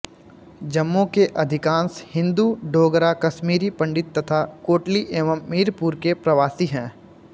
जम्मू के अधिकांश हिन्दू डोगरा कश्मीरी पंडित तथा कोटली एवं मीरपुर के प्रवासी हैं